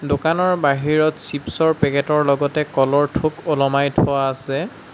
দোকানৰ বাহিৰত চিপছ ৰ পেকেট ৰ লগতে কলৰ থোক ওলমাই থোৱা আছে।